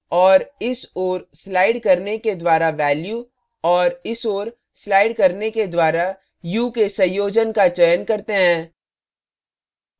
और इस ओर स्लाइड करने के द्वारा value और इस ओर स्लाइड करने के द्वारा hue के संयोजन का चयन करते हैं